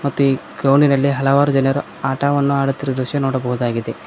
ಮತ್ತು ಈ ಗ್ರೌಂಡ್ ಇನಲ್ಲಿ ಹಲವರು ಜನರು ಆಟವನ್ನು ಆಡುತ್ತಿರುವ ದೃಶ್ಯವನ್ನು ನೋಡಬಹುದಾಗಿದೆ.